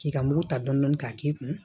K'i ka mugu ta dɔn k'a k'i kun